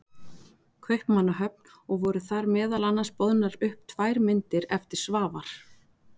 Kaupmannahöfn og voru þar meðal annars boðnar upp tvær myndir eftir Svavar